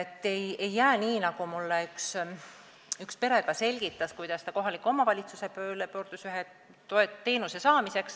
Ei tohi olla nii, nagu juhtus ühe perega, kes ühe teenuse saamiseks kohaliku omavalitsuse poole pöördus.